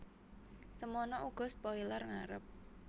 Semana uga spoiler ngarep